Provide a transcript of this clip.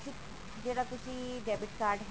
ਜਿਹੜਾ ਤੁਸੀਂ debit card ਹੈਗਾ